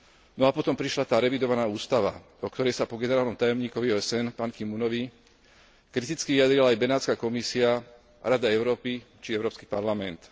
No a potom prišla tá revidovaná ústava, o ktorej sa po generálnom tajomníkovi OSN Pan Ki munovi, kriticky vyjadrila aj Benátska komisia, Rada Európy či Európsky parlament.